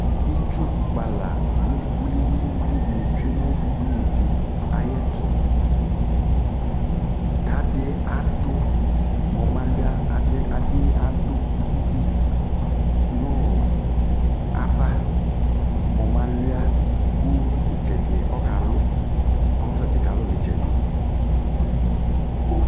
itsʋʋ kpala wili wilii dinii tsʋe nu udunudi ayuɛtʋ kadiadu mu ɔmalʋa adi adiadʋ gbigbigbii nʋɔ ava mʋ ɔmalʋa kʋɔ itsɛdi ɔkalʋʋ kʋɔvɛbi kalʋ nu itsɛdi